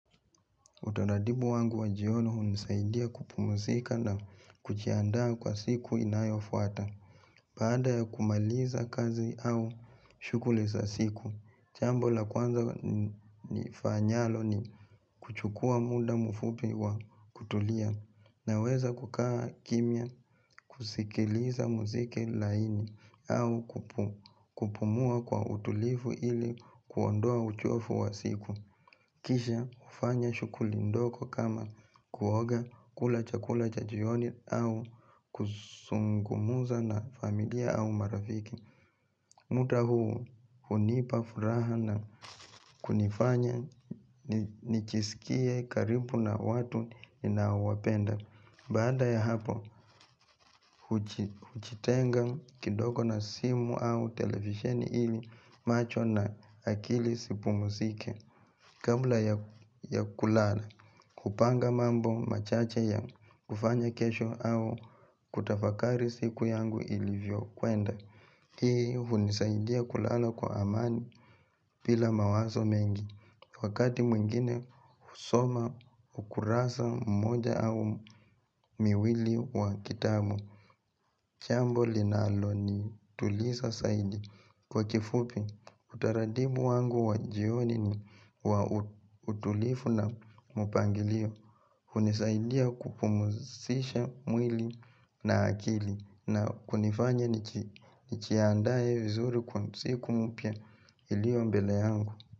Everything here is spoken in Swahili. Utanadibu wangu wa jioni hunisaidia kupumzika na kujiandaa kwa siku inayofuata. Baada ya kumaliza kazi au shughuli za siku. Jambo la kwanza nifanyalo ni kuchukua muda mfupi wa kutulia. Naweza kukaa kimya kusikiliza muziki laini au kupumua kwa utulivu ili kuondoa uchovu wa siku. Kisha hufanya shughuli ndogo kama kuoga kula chakula cha jioni au kuzungumza na familia au marafiki muda huu hunipa furaha na kunifanya nijisikie karibu na watu ninao wapenda Baada ya hapo hujitenga kidogo na simu au televisheni ili macho na akili zipumzike Kabla ya kulala, kupanga mambo machache ya kufanya kesho au kutafakari siku yangu ilivyo kwenda Hii hunisaidia kulala kwa amani bila mawazo mengi Wakati mwingine husoma ukurasa mmoja au miwili wa kitabu jambu linalo nituliza zaidi Kwa kifupi, utaratibu wangu wa jioni ni wa utulivu na mpangilio hunisaidia kupumzisha mwili na akili na kunifanya nijiandae vizuri kwa siku mpya ilio mbele yangu.